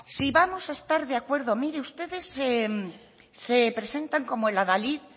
si vamos a estar de acuerdo mire ustedes se presentan como el adalid